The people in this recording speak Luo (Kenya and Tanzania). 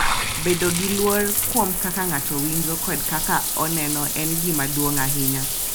Bedo gi luor kuom kaka ng’ato winjo kod kaka oneno en gima duong’ ahinya.